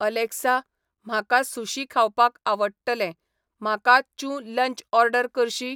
Alexa, म्हाका sushi खावपाक आवडटलें, म्हाका चूं लंच ऑर्डर करशी